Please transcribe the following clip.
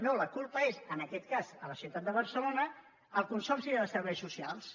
no la culpa és en aquest cas a la ciutat de barce·lona el consorci de serveis socials